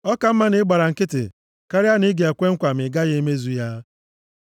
Ọ ka mma na ị gbara nkịtị karịa na ị ga-ekwe nkwa ma ị gaghị emezu ya.